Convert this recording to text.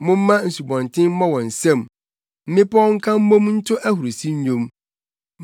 Momma nsubɔnten mmɔ wɔn nsam, mmepɔw nka mmom nto ahurusi nnwom;